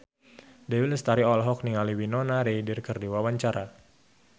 Dewi Lestari olohok ningali Winona Ryder keur diwawancara